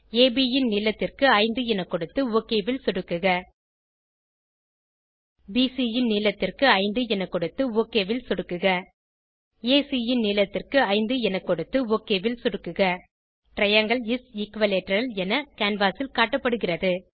அப் ன் நீளத்திற்கு 5 என கொடுத்து ஒக் ல் சொடுக்குக பிசி ன் நீளத்திற்கு 5 என கொடுத்து ஒக் ல் சொடுக்குக ஏசி ன் நீளத்திற்கு 5 என கொடுத்து ஒக் ல் சொடுக்குக டிரையாங்கில் இஸ் எக்விலேட்டரல் என கேன்வாஸ் ல் காட்டப்படுகிறது